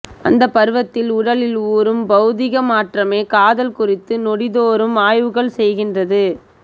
அந்த பருவத்தில் உடலில் ஊறும் பௌதிக மாற்றமே காதல் குறித்து நொடிதோறும் ஆய்வுகள் செய்கிறது